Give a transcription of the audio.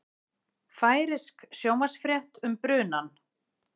Færeysk sjónvarpsfrétt um brunann